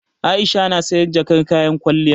Aisha na sayan jakar kayan kwalliya.